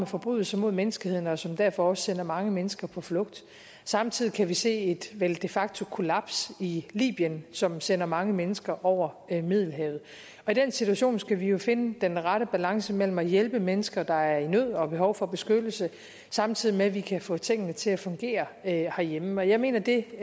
forbrydelser mod menneskeheden og som derfor også sender mange mennesker på flugt samtidig kan vi se et vel de facto kollaps i libyen som sender mange mennesker over middelhavet i den situation skal vi jo finde den rette balance mellem at hjælpe mennesker der er i nød og har behov for beskyttelse samtidig med at vi kan få tingene til at fungere herhjemme og jeg mener at det